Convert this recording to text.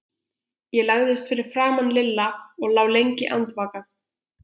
Ég lagðist fyrir framan Lilla og lá lengi andvaka.